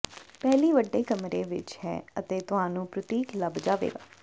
ਪਹਿਲੀ ਵੱਡੀ ਕਮਰੇ ਵਿਚ ਹੈ ਅਤੇ ਤੁਹਾਨੂੰ ਪ੍ਰਤੀਕ ਲੱਭ ਜਾਵੇਗਾ